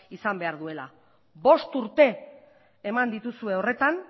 izan behar duela bost urte eman dituzue horretan